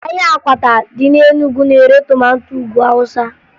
Ahịa akwata dị na Enugu na-ere tomato Ugwu Awụsa